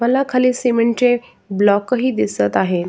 मला खाली सिमेंटचे ब्लॉक ही दिसत आहे.